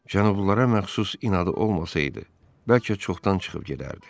Cənublulara məxsus inadı olmasaydı, bəlkə çoxdan çıxıb gedərdi.